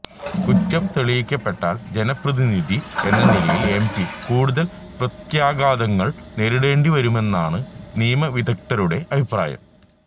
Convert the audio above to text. കുറ്റം തെളിയിക്കപ്പെട്ടാല് ജനപ്രതിനിധി എന്ന നിലയില് എം പി കൂടുതല് പ്രത്യാഘാതങ്ങള് നേരിടേണ്ടി വരുമെന്നാണ് നിയമവിദഗ്ധരുടെ അഭിപ്രായം